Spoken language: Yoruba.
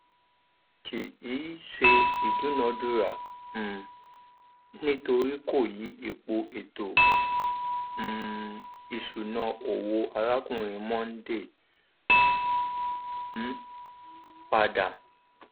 kì í ṣe ìdúnadúrà um nítorí kò yí ipò ètò um ìṣúná owó arákùnrin mondal um pada